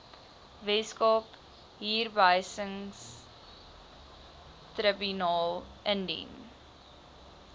weskaapse huurbehuisingstribunaal indien